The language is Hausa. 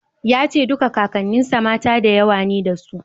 Ya ce duka Kakanninsa mata da yawa ne dasu.